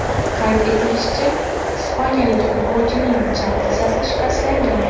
Qayd etilishicha, ispaniyalik futbolchining chap tizzasi shikastlangan.